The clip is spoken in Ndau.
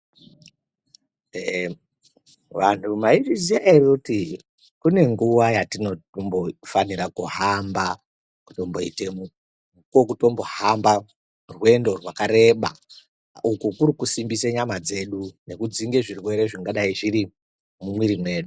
Vantu maizviziva here kuti kune nguwa yatinofanira kuhamba kutoita mukuwo watinofanira kuhamba rwendo rwakareba uku kuri kusimbisa nyama dzedu nekudzinga zvirwere zvingadai zvirimo.